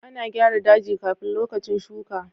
A na gyara daji kafin lokacin shuka.